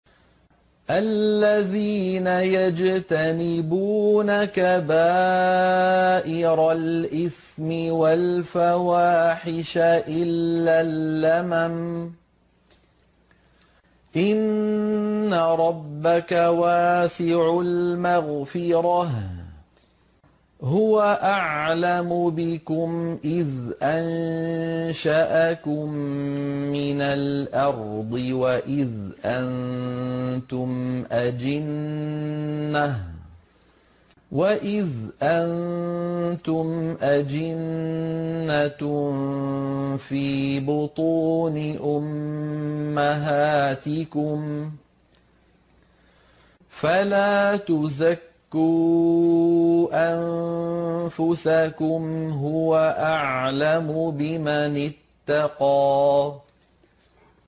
الَّذِينَ يَجْتَنِبُونَ كَبَائِرَ الْإِثْمِ وَالْفَوَاحِشَ إِلَّا اللَّمَمَ ۚ إِنَّ رَبَّكَ وَاسِعُ الْمَغْفِرَةِ ۚ هُوَ أَعْلَمُ بِكُمْ إِذْ أَنشَأَكُم مِّنَ الْأَرْضِ وَإِذْ أَنتُمْ أَجِنَّةٌ فِي بُطُونِ أُمَّهَاتِكُمْ ۖ فَلَا تُزَكُّوا أَنفُسَكُمْ ۖ هُوَ أَعْلَمُ بِمَنِ اتَّقَىٰ